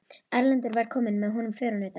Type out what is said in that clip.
Erlendur var kominn og með honum förunautar.